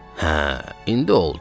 Hə, indi oldu.